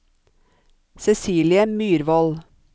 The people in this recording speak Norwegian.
Cecilie Myrvold